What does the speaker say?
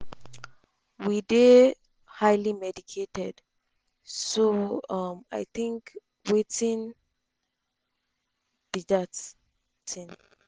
we dey highly medicated so um i tink wetin um be dat tin